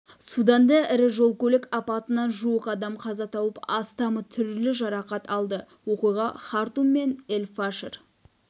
суданда ірі жол-көлік апатынан жуық адам қаза тауып астамы түрлі жарақат алды оқиға хартум мен эль-фашер